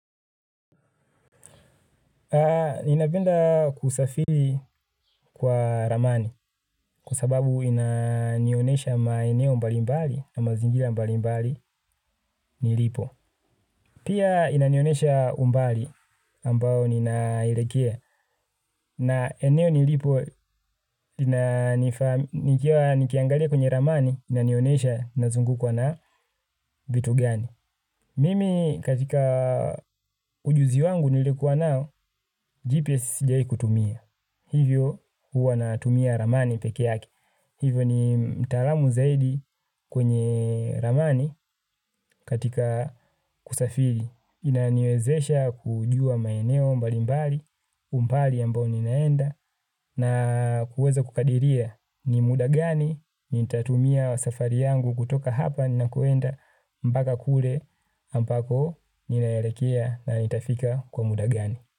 Ninapenda kusafiri kwa ramani kwa sababu inanionesha maeneo mbalimbali na mazingira mbali mbali nilipo. Pia inanionesha umbali ambao ninaelekea na eneo nilipo nikiangalia kwenye ramani inanionesha nazungukwa na vitu gani. Mimi katika ujuzi wangu nilikuwa nao GPS sijai kutumia. Hivyo huwa natumia ramani peke yake. Hivyo ni mtaalamu zaidi kwenye ramani katika kusafiri. Inaniwezesha kujua maeneo mbalimbali, umbali ambao ninaenda na kuweza kukadiria ni muda gani nitatumia safari yangu kutoka hapa ninakoenda mpaka kule ambako ninaerekea na nitafika kwa muda gani.